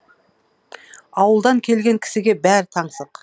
ауылдан келген кісіге бәрі таңсық